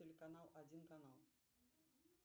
телеканал один канал